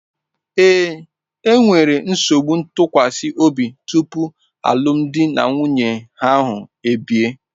Ee, e nwere nsogbu ntụkwasị obi tupu alụmdi na nwunye ahụ ebie.